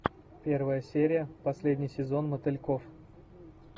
первая серия последний сезон мотыльков